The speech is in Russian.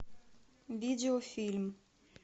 видеофильм